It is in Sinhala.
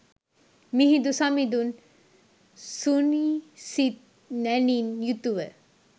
මිහිඳු සමිඳුන් සුනිසිත් නැණින් යුතුව